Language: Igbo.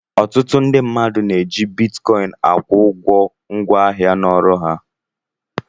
Ọtụtụ ndị mmadụ na-eji bitkọịn akwụ ụgwọ ngwaahịa na ọrụ ha.